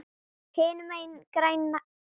Hinum megin grænna gras.